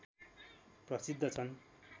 प्रसिद्ध छन्